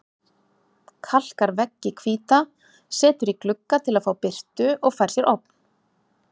Kalkar veggi hvíta, setur í glugga til að fá birtu og fær sér ofn.